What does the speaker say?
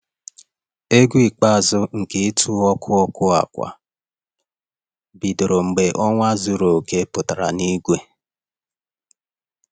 Egwu ikpeazụ nke ịtụ ọkụ ọkụ ákwà bidoro mgbe ọnwa zuru oke pụtara n'igwe